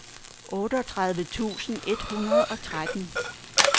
otteogtredive tusind et hundrede og tretten